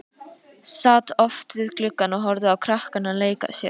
Sat oft við gluggann og horfði á krakkana leika sér.